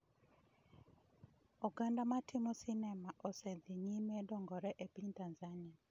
Oganda ma timo sinema osedhi nyime dongore e piny Tanzania